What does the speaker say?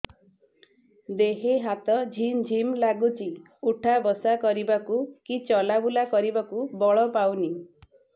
ଦେହେ ହାତ ଝିମ୍ ଝିମ୍ ଲାଗୁଚି ଉଠା ବସା କରିବାକୁ କି ଚଲା ବୁଲା କରିବାକୁ ବଳ ପାଉନି